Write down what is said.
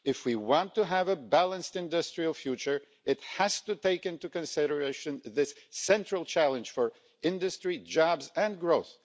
If we want to have a balanced industrial future, it has to take into consideration this central challenge for industry, jobs and growth.